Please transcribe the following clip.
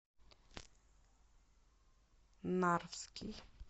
нарвский